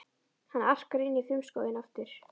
Hann arkar inn í frumskóginn aftur.